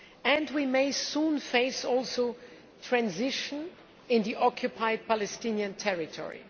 And we may soon face transition in the occupied Palestinian territory.